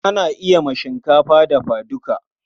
Ana yi ma shinkafa dafa duka.